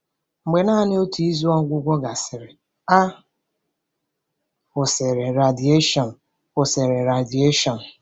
Mgbe naanị otu izu ọgwụgwọ gasịrị, a kwụsịrị radieshon. kwụsịrị radieshon.